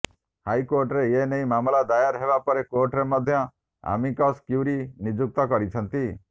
ହାଇକୋର୍ଟରେ ଏନେଇ ମାମଲ ଦାୟର ହେବା ପରେ କୋର୍ଟ ମଧ୍ୟ ଆମିକସ୍ କ୍ୟୁରି ନିଯୁକ୍ତ କରିଛନ୍ତି